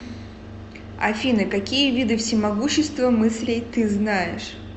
афина какие виды всемогущество мыслей ты знаешь